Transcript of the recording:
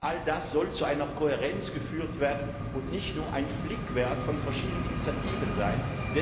All das soll zu einer Kohärenz geführt werden und nicht nur ein Flickwerk von verschiedenen Initiativen sein.